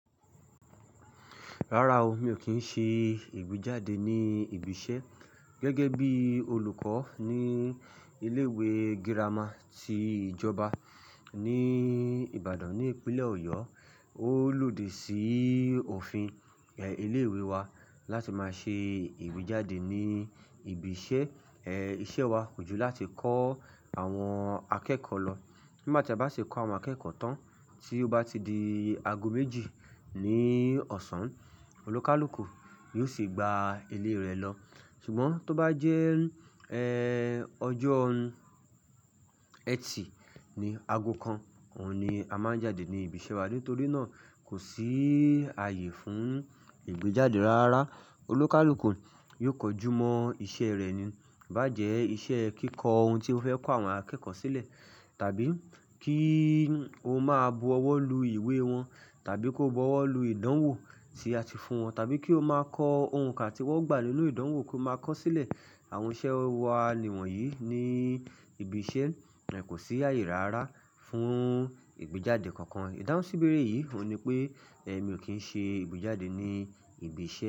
Rárá o, mi ò kí ń ṣe ìgbéjáde ní ibi iṣẹ́ gẹ́gẹ́ bí olùkọ́ ní ilé ìwé girama ti ìjọba ní Ìbàdàn ní ìpínlẹ̀ Ọ̀yọ́. Ó lòdì sí òfin, ẹ, ilé ìwé wa láti máa ṣe ìgbéjáde ní ibi iṣẹ́. Ẹ, iṣẹ́ wa kò ju láti kọ́ àwọn akẹ́kọ̀ọ́ lọ. Nígbà tí a bá ṣi kọ́ àwọn akẹ́kọ̀ọ́ tán, tí ó bá ti di ago méjì ní ọ̀sán, onikàlùkù ni ó ṣe é gba ilé rẹ̀ lọ. Ṣùgbọ́n tó bá jẹ́, ẹ́, ọjọ́ Ẹtì ni ago kan, òun ni a máa ń jáde ní ibi iṣẹ́ wa. Nítorí náà, kò sí àyè fún ìgbéjáde rárá. Olukàlùkù yóò kojú mọ́ iṣẹ́ rẹ̀ ni. Bá jẹ́ iṣẹ́ kíkọ ohun tí ó fẹ́ kọ àwọn akẹ́kọ̀ọ́ sílẹ̀, tàbí kí ó máa bu ọwọ́ lu ìwé wọn, tàbí kó bu ọwọ́ lu ìdánwò tí a ti fún wọn, tàbí kí ó máa kọ ohùn kan tí wọ́n gbà nínú ìdánwò kó máa kọ ó sílẹ̀. Àwọn iṣẹ́ wa ni wọ̀nyí ní ibi iṣẹ́, ẹ́, kò sí àyè rárá fún ìgbéjáde kankan. Ìdáhùnsíbèérè yìí òní pé ẹ mi ò kí ń ṣe ìgbéjáde ní ibi iṣẹ́.